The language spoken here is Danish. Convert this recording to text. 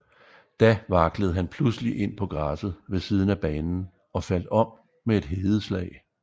Da vaklede han pludselig ind på græsset ved siden af banen og faldt om med et hedeslag